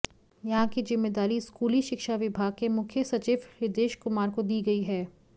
यहां की जिम्मेदारी स्कूली शिक्षा विभाग के मुख्य सचिव हृदेश कुमार को दी गई है